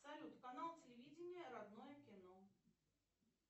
салют канал телевидения родное кино